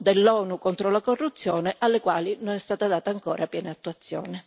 dell'ONU contro la corruzione, alle quali non è stata data ancora piena attuazione.